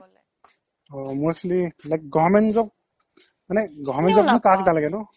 অ মই actually like government job মানে government job কাক নালাগে নো?